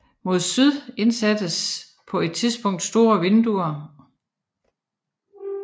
Mod syd indsattes på et tidspunkt store vinduer